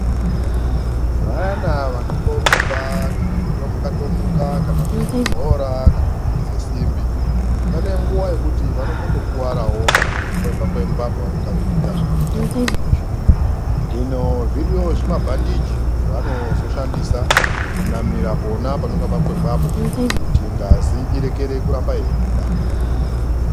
Vana vanomborumba kana kutomuka tomuka kana kukhabe bhora kana kumurudze simbi, pane nguwa yekuti vanotombokuwarawo kana kukwengwa kwengwa pavanenge veiita zvavanoita zvona izvozvo. Hino zvoriyo zvimabhandiji zvevanozoshandisa kunamira pona panenge pakwengwapo kuti ngazi irekere kuramba yeibuda.